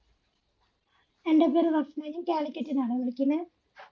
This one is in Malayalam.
എൻ്റെ പേര് റഫ്‌ന ഇത് കാലിക്കറ്റിന്ന് ആണെ വിളികിന്നെ